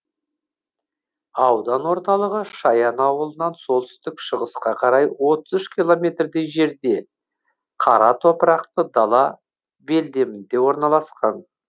аудан орталығы шаян ауылынан солтүстік шығысқа қарай отыз үш километрдей жерде қара топырақты дала белдемінде орналасқан